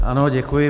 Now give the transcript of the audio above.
Ano, děkuji.